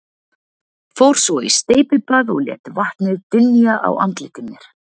Fór svo í steypibað og lét vatnið dynja á andliti mér.